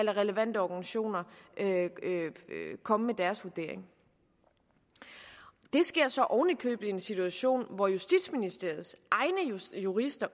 relevante organisationer komme med deres vurdering det sker så oven i købet i en situation hvor justitsministeriets egne jurister